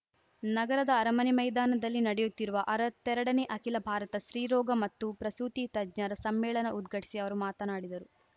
ನಗರದ ಅರಮನೆ ಮೈದಾನದಲ್ಲಿ ನಡೆಯುತ್ತಿರುವ ಅರತ್ತೆರಡನೇ ಅಖಿಲ ಭಾರತ ಸ್ತ್ರೀರೋಗ ಮತ್ತು ಪ್ರಸೂತಿ ತಜ್ಞರ ಸಮ್ಮೇಳನ ಉದ್ಘಟಿಸಿ ಅವರು ಮಾತನಾಡಿದರು